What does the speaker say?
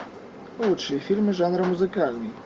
лучшие фильмы жанра музыкальный